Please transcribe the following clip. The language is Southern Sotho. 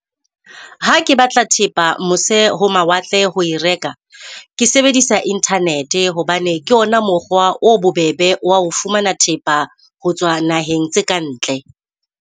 Ha ke batla thepa mose ho mawatle ho e reka ke sebedisa Internet-e, hobane ke ona mokgwa o bobebe wa ho fumana thepa ho tswa naheng tse ka ntle.